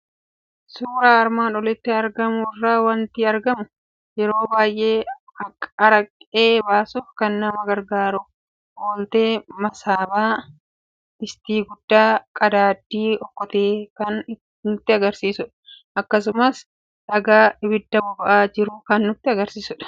Suuraa armaan olitti argamu irraa waanti argamu; yeroo baay'ee Aqaree baasuuf kan nama gargaaru, Ooltee, Masaabaa, Distii guddaa, Qadaaddii Okkotee kan nutti agarsiisudha. Akkasumas dhagaa, Abida boba'aa jiru kan nutti agarsiisudha.